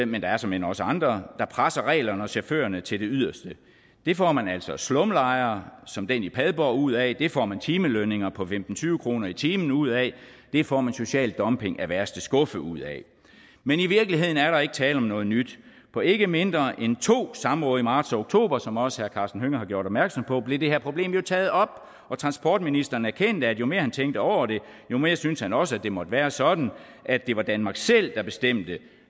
men der er såmænd også andre presser reglerne og chaufførerne til det yderste det får man altså slumlejre som den i padborg ud af det får man timelønninger på femten til tyve kroner i timen ud af det får man social dumping af værste skuffe ud af men i virkeligheden er der ikke tale om noget nyt på ikke mindre end to samråd i marts og oktober som også herre karsten hønge har gjort opmærksom på blev det her problem jo taget op og transportministeren erkendte at jo mere han tænkte over det jo mere syntes han også at det måtte være sådan at det var danmark selv der bestemte